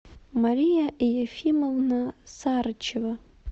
мария ефимовна сарычева